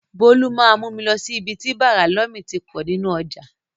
Bọ́lá máa mú mi lọ sí ibi tí bàrà lómi ti pọ̀ nínú ọjà.